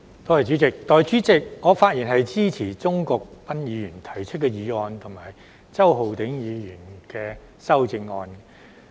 代理主席，我發言支持鍾國斌議員提出的議案及周浩鼎議員的修正案。